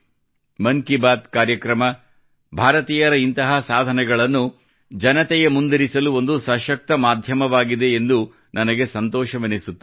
ಮನ್ ಕಿ ಬಾತ್ ಕಾರ್ಯಕ್ರಮ ಭಾರತೀಯರ ಇಂತಹ ಸಾಧನೆಗಳನ್ನು ಜನತೆಯ ಮುಂದಿರಿಸಲು ಒಂದು ಸಶಕ್ತ ಮಾಧ್ಯಮವಾಗಿದೆ ಎಂದು ನನಗೆ ಸಂತೋಷವೆನಿಸುತ್ತದೆ